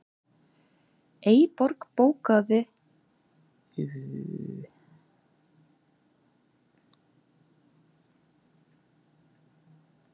Eyborg, bókaðu hring í golf á fimmtudaginn.